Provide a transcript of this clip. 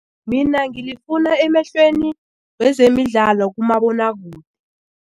Mina ngilifuna emehlweni wezemidlalo kumabonwakude.